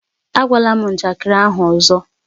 Ágwala m njakịrị ahụ ọzọ!